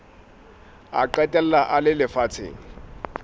a qetella a le lefatsheng